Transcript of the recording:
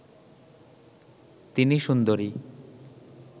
তিনি সুন্দরী